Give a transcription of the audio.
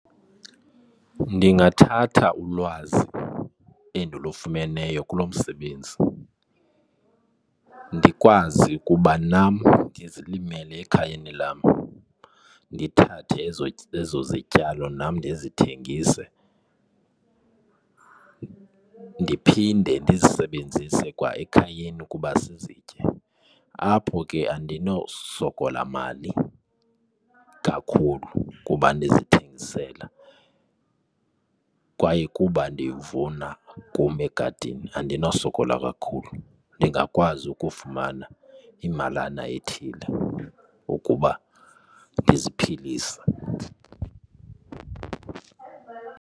Ndingathatha ulwazi endilofumeneyo kulo msebenzi ndikwazi ukuba nam ndizilimele ekhayeni lam ndithathe ezo zityalo nam ndizithengise ndiphinde ndizisebenzise kwa ekhayeni kuba sizitye. Apho ke andinowusokola mali kakhulu kuba ndizithengisela kwaye kuba ndiwuvuna kum egadini. Andinosokola kakhulu ndingakwazi ukufumana imalana ethile ukuba ndiziphilise.